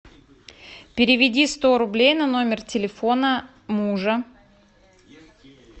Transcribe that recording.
переведи сто рублей на номер телефона мужа